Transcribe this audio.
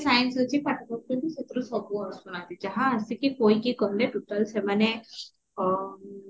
science ଅଛି ପାଠ ପଢୁଛନ୍ତି ସେଇଥିରୁ ସବୁ ଆସୁନାହାନ୍ତି ଯାହା ଆସିକି କହିକି ଗଲେ total ସେମାନେ ଅ